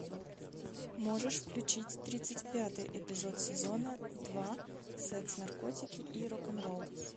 можешь включить тридцать пятый эпизод сезона два секс наркотики и рок н ролл